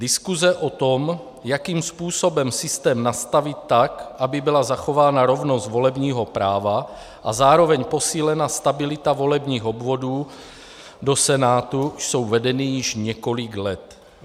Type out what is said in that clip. Diskuse o tom, jakým způsobem systém nastavit tak, aby byla zachována rovnost volebního práva a zároveň posílena stabilita volebních obvodů do Senátu, jsou vedeny již několik let.